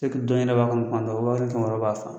b'a kɔnɔ tuma dɔ wa kelen ni kɛmɛ wɔɔrɔ b'a fa